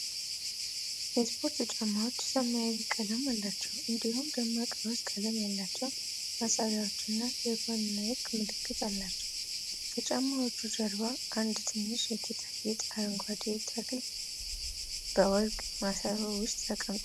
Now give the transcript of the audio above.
የስፖርት ጫማዎቹ ሰማያዊ ቀለም አላቸው እንዲሁም ደማቅ ሮዝ ቀለም ያላቸው ማሰሪያዎች እና የጎን ናይኪ ምልክት አላቸው። ከጫማዎቹ ጀርባ አንድ ትንሽ የጌጣጌጥ አረንጓዴ ተክል በወርቅ ማሰሮ ውስጥ ተቀምጧል።